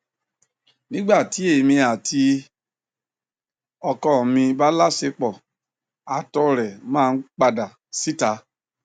nígbà tí èmi àti ọkọ mi bá láọṣepọ àtọ rẹ máa ń padà síta